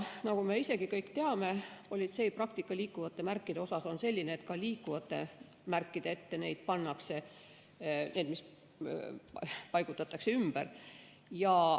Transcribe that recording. Nagu me isegi kõik teame, politsei praktika liikuvate märkidega on selline, et ka liikuvate märkide ette neid pannakse, neid, mis paigutatakse ümber.